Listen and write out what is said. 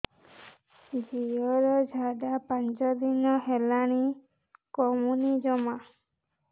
ଝିଅର ଝାଡା ପାଞ୍ଚ ଦିନ ହେଲାଣି କମୁନି ଜମା